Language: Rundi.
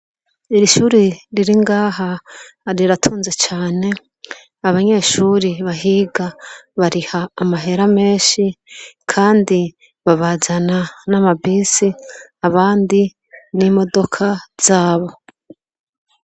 Iri shure riri ngaha riratunze cane abanyeshure bahiga bariha amahera menshi kandi babazana n'a amabisi abandi n' imodoka zabo.